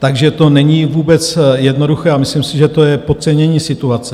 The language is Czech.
Takže to není vůbec jednoduché a myslím si, že to je podcenění situace.